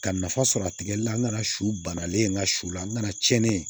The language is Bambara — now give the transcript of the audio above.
Ka nafa sɔrɔ a tigɛli la n nana su bannalen n ka su la n nana tiɲɛni